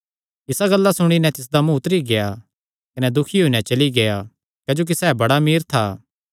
इसा गल्ला सुणी नैं तिसदा मुँ उतरी गेआ कने दुखी होई नैं चली गेआ क्जोकि सैह़ बड़ा अमीर था